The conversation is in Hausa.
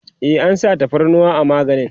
e an sa tafarnuwa a maganin